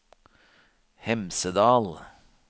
Hemsedal